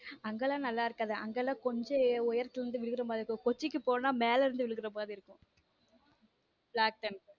அங்கெல்லாம் நல்லா இருக்காது அங்கெல்லாம் கொஞ்சம் உயரத்தில் இருந்து விழுகிற மாதிரி இருக்கும் கொச்சிக்கு போனா மேல இருந்து விழுகிற மாதிரி இருக்கும் black thunder.